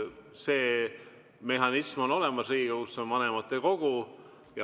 See mehhanism on olemas Riigikogus, see on vanematekogu.